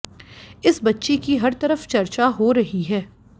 इस बच्ची की हर तरफ चर्चा हो रही है